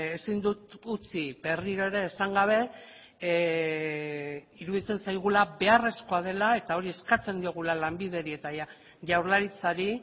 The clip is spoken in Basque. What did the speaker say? ezin dut utzi berriro ere esan gabe iruditzen zaigula beharrezkoa dela eta hori eskatzen diogula lanbideri eta jaurlaritzari